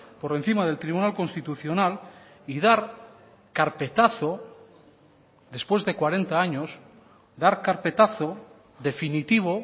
por encima del tribunal constitucional y dar carpetazo después de cuarenta años dar carpetazo definitivo